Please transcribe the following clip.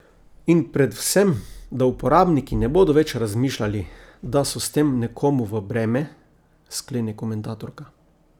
In predvsem, da uporabniki ne bodo več razmišljali, da so s tem nekomu v breme, sklene komentatorka.